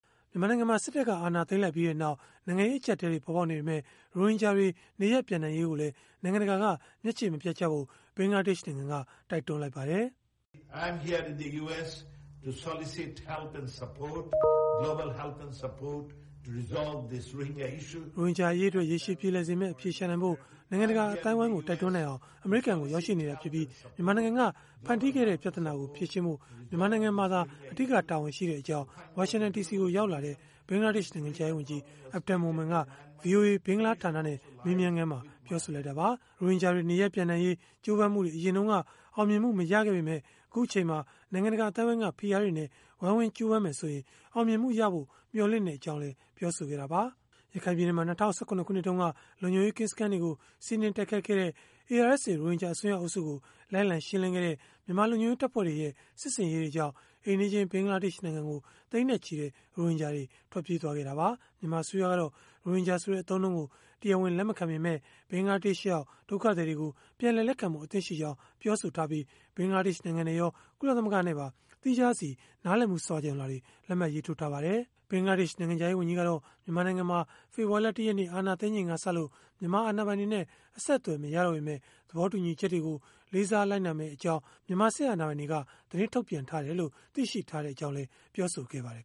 မြန်မာနိုင်ငံမှာ စစ်တပ်က အာဏာသိမ်းလိုက်ပြီးနောက် နိုင်ငံရေးအကျပ်အတည်းတွေ ပေါ်ပေါက်နေပေမဲ့ ရိုဟင်ဂျာတွေ နေရပ်ပြန်နိုင်ရေးကိုလည်း နိုင်ငံတကာက မျက်ခြေမပြတ်ဖို့ ဘင်္ဂလားဒေ့ရှ်နိုင်ငံက တိုက်တွန်းလိုက်ပါတယ်။ “ရိုဟင်ဂျာအရေးအတွက် ရေရှည်ပြေလည်စေမယ့် အဖြေရှာနိုင်ဖို့ အမေရိကန်ကို ရောက်ရှိနေတာဖြစ်ပြီး၊ မြန်မာနိုင်ငံက ဖန်တီးခဲ့တဲ့ ပြဿနာကို ဖြေရှင်းဖို့ မြန်မာနိုင်ငံမှာ အဓိက တာဝန်ရှိကြောင်း”ဝါရှင်တန်ဒီစီကို ရောက်လာတဲ့ ဘင်္ဂလားဒေ့ရှ် နိုင်ငံခြားရေးဝန်ကြီး Abdul Momen က ဗွီအိုအေ ဘင်္ဂလားဌာနနဲ့ မေးမြန်းခန်းမှာ ပြောဆိုလိုက်တာပါ။ ရိုဟင်ဂျာတွေ နေရပ်ပြန်နိုင်ရေး ကြိုးပမ်းမှုတွေ အရင်တုန်းက အောင်မြင်မှု မရခဲ့ပေမဲ့ အခုအချိန်မှာ နိုင်ငံတကာ အသိုင်းအဝန်းက ဖိအားတွေနဲ့ ဝိုင်းဝန်းကြိုးပမ်းမယ်ဆိုရင်္င အောင်မြင်မှုရဖို့ မျှော်လင့်ကြောင်းလည်း ပြောဆိုခဲ့တာပါ။ ရခိုင်ပြည်နယ်မှာ ၂၀၁၇ ခုနှစ်တုန်းက လုံခြုံရေးကင်းစခန်းတွေကို စီးနင်းတိုက်ခိုက်ခဲ့တဲ့ ARSA ရိုဟင်ဂျာ အစွန်းရောက်အုပ်စုကို လိုက်လံရှင်းလင်းခဲ့တဲ့ မြန်မာလုံခြုံရေး တပ်ဖွဲ့တွေရဲ့ စစ်ဆင်ရေးတွေကြောင့် အိမ်နီးချင်း ဘင်္ဂလားဒေ့ရှ်နိုင်ငံကို သိန်းနဲ့ချီတဲ့ ရိုဟင်ဂျာတွေ ထွက်ပြေးသွားခဲ့ကြတာပါ။ မြန်မာအစိုးရကတော့ ရိုဟင်ဂျာဆိုတဲ့ အသုံးအနှုန်းကို တရားဝင် လက်မခံပေမဲ့ ဘင်္ဂလားဒေ့ရှ်ရောက် ဒုက္ခသည်တွေကို ပြန်လည်လက်ခံဖို့ အသင့်ရှိကြောင်း ပြောဆိုထားပြီး ဘင်္ဂလားဒေ့ရှ်နိုင်ငံနဲ့ရော ကုလသမဂ္ဂနဲ့ပါ သီးခြားစီ နားလည်မှု စာချွန်လွှာတွေ လက်မှတ်ရေးထိုးထားပါတယ်။ ဘင်္ဂလားဒေ့ရှ် နိုင်ငံခြားရေး ဝန်ကြီးကတော့ မြန်မာနိုင်ငံမှာ ဖေဖော်ဝါရီလ ၁ ရက်နေ့ အာဏာသိမ်းလိုက်ချိန်ကစလို့ မြန်မာအာဏာပိုင်တွေနဲ့ အဆက်အသွယ်မရပေမဲ့ သဘောတူညီချက်တွေကို လေးစားလိုက်နာမယ့်အကြောင်း မြန်မာစစ်အာဏာပိုင်တွေက သတင်းထုတ်ပြန်ထားတယ်လို့ သိရှိထားရကြောင်းလည်း ပြောဆိုခဲ့ပါတယ်